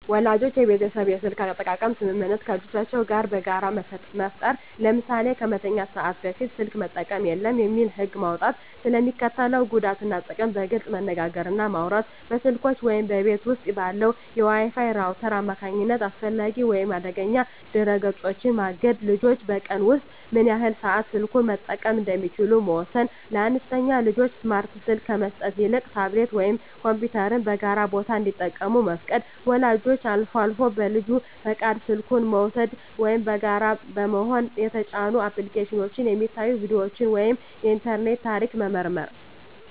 ወላጆች የቤተሰብ የስልክ አጠቃቀም ስምምነት ከልጆቻቸው ጋር በጋራ መፍጠር። ለምሳሌ "ከመተኛት ሰዓት በፊት ስልክ መጠቀም የለም" የሚል ህግ መውጣት። ስለ ሚስከትለው ጉዳት እና ጥቅም በግልፅ መነጋገር እና ማውራት። በስልኮች ወይም በቤት ውስጥ ባለው የWi-Fi ራውተር አማካኝነት አላስፈላጊ ወይም አደገኛ ድረ-ገጾችን ማገድ። ልጆች በቀን ውስጥ ምን ያህል ሰዓት ስልኩን መጠቀም እንደሚችሉ መወሰን። ለአነስተኛ ልጆች ስማርት ስልክ ከመስጠት ይልቅ ታብሌት ወይም ኮምፒውተርን በጋራ ቦታ እንዲጠቀሙ መፍቀድ። ወላጆች አልፎ አልፎ በልጁ ፈቃድ ስልኩን በመውሰድ (ወይም በጋራ በመሆን) የተጫኑ አፕሊኬሽኖች፣ የሚታዩ ቪዲዮዎች ወይም የኢንተርኔት ታሪክ መመርመር።